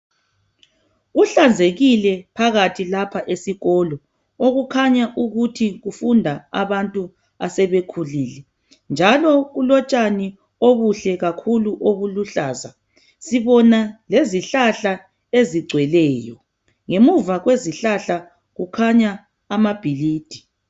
Kuhlanzekile phakathi lapha esikolo okukhanya ukuthi kufunda abantu asebekhulile njalo kulo utshani obuhle kakhulu obuluhlaza sibona lezihlahla ezigcweleyo. Ngemuva kwezihlahla kukhanya amabhilidi.